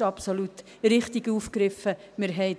absolut richtig aufgegriffen ist.